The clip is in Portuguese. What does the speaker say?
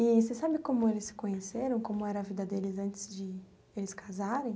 E você sabe como eles se conheceram, como era a vida deles antes de eles casarem?